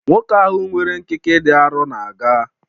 Nwoke ahụ nwere nkịkị dị arọ na-aga